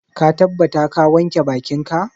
Ka tabbata ka wanke bakinka?